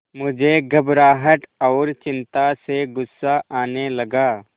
मुझे घबराहट और चिंता से गुस्सा आने लगा